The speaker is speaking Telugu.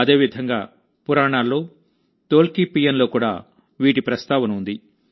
అదే విధంగాపురాణాల్లో తొల్కాప్పియంలో కూడా వీటి ప్రస్తావన ఉంది